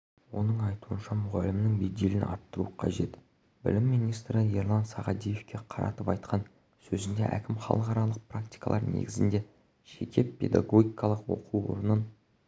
оның айтуынша мұғалімнің беделін арттыру қажет білім министрі ерлан сағадиевке қаратып айтқан сөзінде әкім халықаралық практикалар негізінде жеке педагогикалық оқу орнын